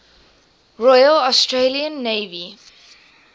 royal australian navy